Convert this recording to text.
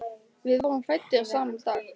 Við vorum fæddir sama dag.